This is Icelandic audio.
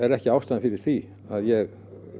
ekki ástæðan fyrir því að ég